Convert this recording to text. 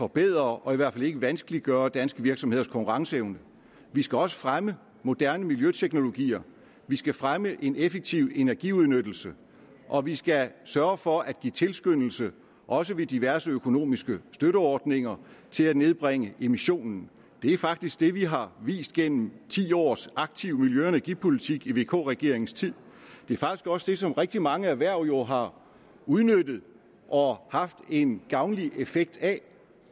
forbedre og i hvert fald ikke vanskeliggøre danske virksomheders konkurrenceevne vi skal også fremme moderne miljøteknologier vi skal fremme en effektiv energiudnyttelse og vi skal sørge for at give tilskyndelse også ved diverse økonomiske støtteordninger til at nedbringe emissionen det er faktisk det vi har vist gennem ti års aktiv miljø og energipolitik i vk regeringens tid det er faktisk også det som rigtig mange erhverv jo har udnyttet og haft en gavnlig effekt af